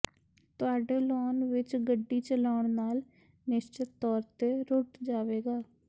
ਤੁਹਾਡੇ ਲੌਂਨ ਵਿੱਚ ਗੱਡੀ ਚਲਾਉਣ ਨਾਲ ਨਿਸ਼ਚਤ ਤੌਰ ਤੇ ਰੁਟ ਜਾਵੇਗਾ